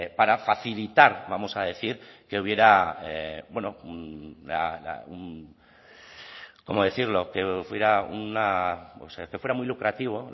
para facilitar vamos a decir que fuera muy lucrativo